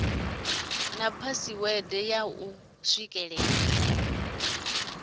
na phasiwede ya u swikelela